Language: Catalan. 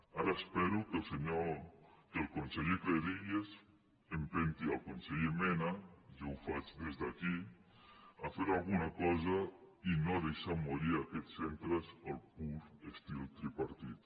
ara espero que el conseller cleries empenti el conseller mena jo ho faig des d’aquí a fer alguna cosa i no deixar morir aquests centres al pur estil tri·partit